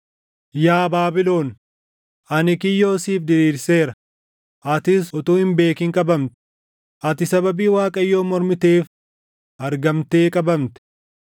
Yaa Baabilon, ani kiyyoo siif diriirseera; atis utuu hin beekin qabamte; ati sababii Waaqayyoon mormiteef, argamtee qabamte.